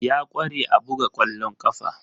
Ya kware a buga kwallon kafa.